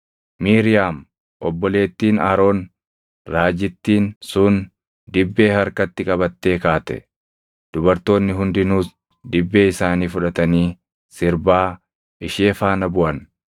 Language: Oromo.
Miiriyaam obboleettiin Aroon raajittiin sun dibbee harkatti qabattee kaate; dubartoonni hundinuus dibbee isaanii fudhatanii sirbaa ishee faana buʼan.